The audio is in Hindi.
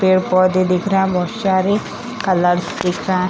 पेड़-पौधे दिख रहा है बहुत सारे कलर्स दिख रहा --